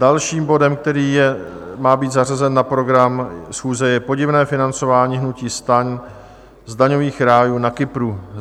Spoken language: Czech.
Dalším bodem, který má být zařazen na program schůze, je Podivné financování hnutí STAN z daňových rájů na Kypru.